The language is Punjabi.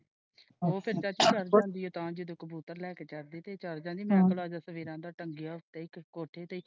ਉਹ ਫੇਰ ਚਾਚੀ ਤੇ ਚੜ ਜਾਂਦੀ ਹੈ ਤਾ ਜਦੋ ਕਬੂਤਰ ਲੈ ਕੇ ਚੜ੍ਹਦੀ ਤੇ ਚੱਲੀ ਜਾਂਦੀ ਹੈ ਮੈਂ ਭਲਾ ਸਵੇਰਾ ਦਾ ਟੰਗਿਆ ਉੱਤੇ ਕੋਠੇ ਤੇ।